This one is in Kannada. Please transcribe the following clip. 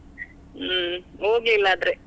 ಹ್ಮ್ ಹೋಗ್ಲಿಲ್ಲಾದ್ರೆ.